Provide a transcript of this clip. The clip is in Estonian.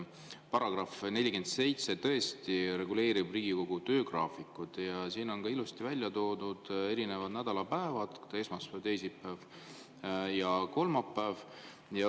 Paragrahv 47 tõesti reguleerib Riigikogu töögraafikut ja siin on ilusti välja toodud erinevad nädalapäevad: esmaspäev, teisipäev ja kolmapäev.